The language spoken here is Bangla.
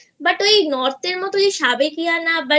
But ওই Northএর মতো সাবেকিয়ানা